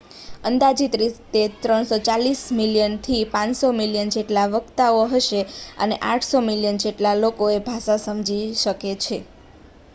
અંદાજિત રીતે 340 મિલિયનથી 500 મિલિયન જેટલા વક્તાઓ હશે અને 800 મિલિયન જેટલા લોકો એ ભાષા સમજી શકે છે